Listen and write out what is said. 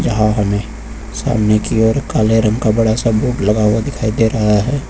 यहां हमे सामने की ओर एक काले रंग सा बड़ा बोर्ड लगा हुआ दिखाई दे रहा है।